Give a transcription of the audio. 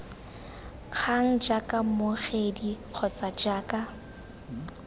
kgang jaaka mmogedi kgotsa jaaka